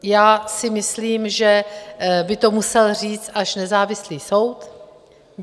Já si myslím, že by to musel říct až nezávislý soud.